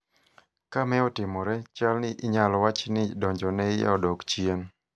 ka me otimore, chalni inyalo wach ni donjone iye odok chien